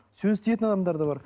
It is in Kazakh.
сөз тиетін адамдар да бар